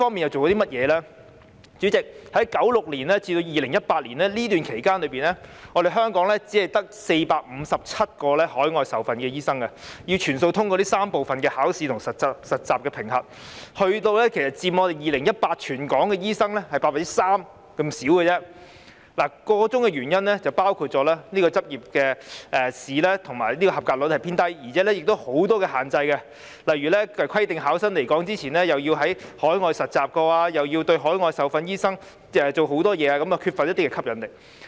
代理主席，在1996年至2018年期間，香港只有457名海外受訓的醫生，他們要全數通過3部分的考試和實習評核，而他們在2018年全港醫生人數中只佔 3%， 箇中原因包括執業試的及格率偏低，而且亦有很多限制，例如規定考生來港前曾在海外實習，並對海外受訓醫生施加很多限制，以致缺乏吸引力。